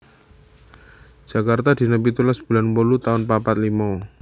Jakarta dina pitulas bulan wolu taun papat limo